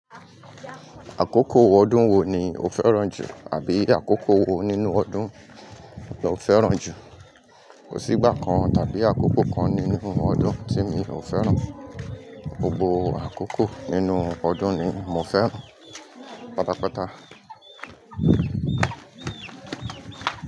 Àkókò ọdún wo ni o fẹ́ràn jù? Àbí àkókò wo nínú ọdún lọ fẹ́ràn jù? Kò sí ìgbà kan tàbí àkókò kan nínú ọdún tí mi ò fẹ́ràn. Gbogbo àkókò nínú ọdún ni mo fẹ́ràn. Pátápátá.